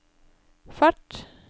fart